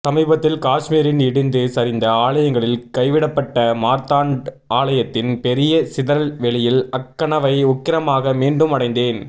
சமீபத்தில் காஷ்மீரின் இடிந்து சரிந்த ஆலயங்களில் கைவிடப்பட்ட மார்த்தாண்ட் ஆலயத்தின் பெரிய சிதறல்வெளியில் அக்கனவை உக்கிரமாக மீண்டும் அடைந்தேன்